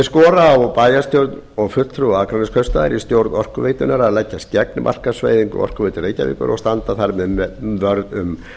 skora á bæjarstjórn og fulltrúa akraneskaupstaðar í stjórn orkuveitunnar að leggjast gegn markaðsvæðingu orkuveitu reykjavíkur og standa þar með vörð um